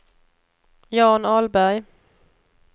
Jan Ahlberg